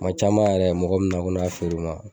Kuma caman yɛrɛ mɔgɔ mi na ko ne k'a feere o ma